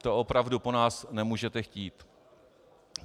To opravdu po nás nemůžete chtít.